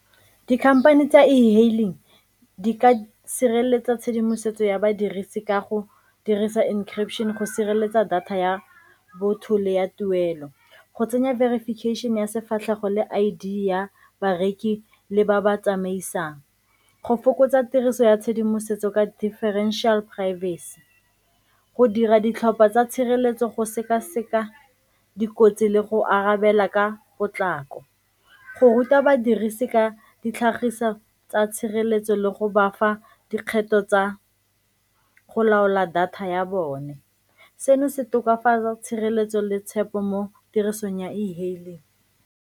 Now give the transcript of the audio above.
Dikhamphane tsa e-hailing di ka sireletsa tshedimosetso ya badirisi kago dirisa encryption go sireletsa data ya botho le ya tuelo, go tsenya verification ya sefatlhego le I_D ya bareki le ba ba tsamaisang, go fokotsa tiriso ya tshedimosetso ka preferential privacy, go dira ditlhopha tsa tshireletso go sekaseka dikotsi le go arabela ka potlako, go ruta badirisi ka ditlhagiso tsa tshireletso le go bafa dikgetho tsa go laola data ya bone. Seno se tokafatsa tshireletso le tshepo mo tirisong ya e-hailing.